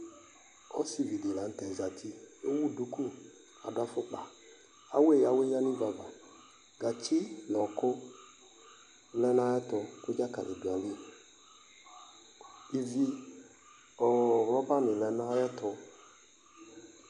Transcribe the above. Ɔsivi la nu tɛ zati adu duku afukpa awɛya wɛyadi ya nu uvú ava gatsi nu ɔku lɛ nu ayɛtu ivi nu rɔba ni lɛ nu ayɛtu